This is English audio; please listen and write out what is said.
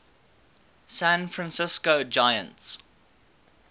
san francisco giants